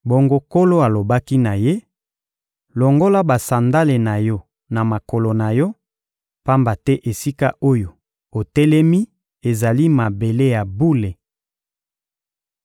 Bongo, Nkolo alobaki na ye: «Longola basandale na yo na makolo na yo, pamba te esika oyo otelemi ezali mabele ya bule.